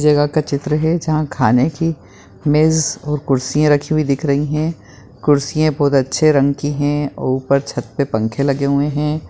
जगह का चित्र है जहाँ खाने कि मेज़ और कुर्सियाँ रखी हुई दिख रही है कुर्सियाँ बहुत अच्छे रंग की है ऊपर छत पे पंखे लगे हुए है।